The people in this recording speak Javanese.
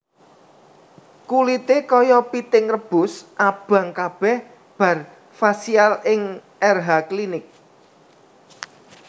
Kulite koyo piting rebus abang kabeh bar facial ning Erha Clinic